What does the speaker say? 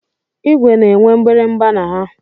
Igwe na-enwe mgbịrịgba na ha.